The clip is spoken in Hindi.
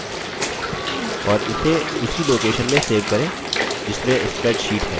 और इसे उसी location में सेव करें जिसमें spreadsheet है